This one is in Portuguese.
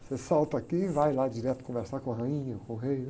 Você salta aqui e vai lá direto conversar com a rainha, com o rei, né?